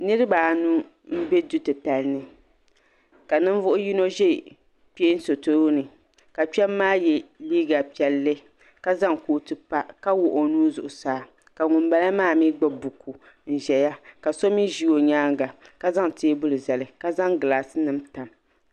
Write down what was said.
niriba anu m-be du' titali ni ka ninvuɣ' yino ʒe kpeen' so tooni ka kpema maa ye liiga piɛlli ka zaŋ kootu pa ka wuɣi o nuu zuɣusaa ka ŋun bala maa mi gbubi buku n-ʒeya ka shɛba mi ʒe o nyaaga ka zaŋ teebuli n-zali ka zaŋ gilaasi nima tam.